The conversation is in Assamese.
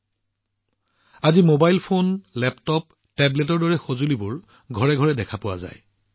বন্ধুসকল আজিকালি মোবাইল ফোন লেপটপ টেবলেটৰ দৰে ডিভাইচবোৰ প্ৰতিখন ঘৰত সচৰাচৰ হৈ পৰিছে